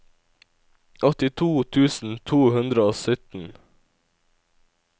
åttito tusen to hundre og sytten